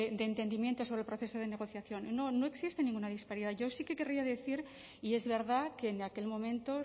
de entendimiento sobre el proceso de negociación no no existe ninguna disparidad yo sí que querría decir y es verdad que en aquel momento